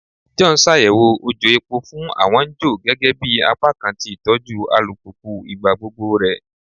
John n ṣayẹwo ojò epo fun awọn n jo gẹgẹbi apakan ti itọju alupupu igbagbogbo rẹ